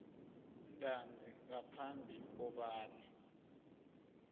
ntanzi ngaphambi kobana